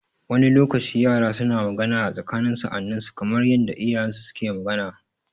Wani lokacin yara suna magana a tsakanin sa'anninsu kamar yanda iyayensu suke magana.